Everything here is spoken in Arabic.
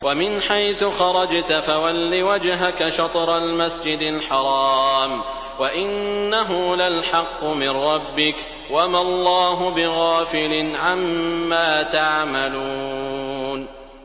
وَمِنْ حَيْثُ خَرَجْتَ فَوَلِّ وَجْهَكَ شَطْرَ الْمَسْجِدِ الْحَرَامِ ۖ وَإِنَّهُ لَلْحَقُّ مِن رَّبِّكَ ۗ وَمَا اللَّهُ بِغَافِلٍ عَمَّا تَعْمَلُونَ